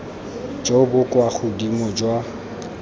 jo bo kwa godimo jwa